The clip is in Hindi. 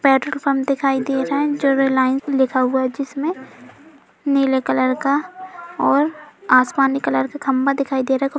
पेट्रोल पम्प दिखाई दे रहा है जो लाइन में लिखा हुआ है जिसमें नीले कलर का और आसमानी कलर का खम्भा दिखाई दे रहा है। कु --